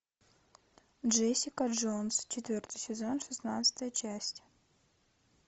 джессика джонс четвертый сезон шестнадцатая часть